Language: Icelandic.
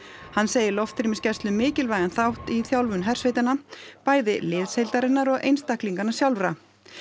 hann segir loftrýmisgæslu mikilvægan þátt í þjálfun hersveitanna bæði liðsheildarinnar og einstaklinganna sjálfra